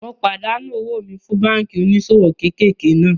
Mo pàdánù owó mi fún báànkì oníṣòwò kéékèèké náà